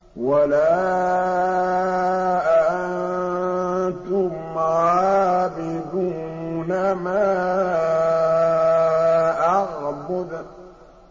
وَلَا أَنتُمْ عَابِدُونَ مَا أَعْبُدُ